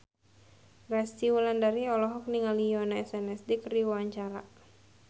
Resty Wulandari olohok ningali Yoona SNSD keur diwawancara